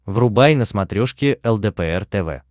врубай на смотрешке лдпр тв